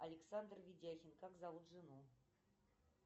александр ведяхин как зовут жену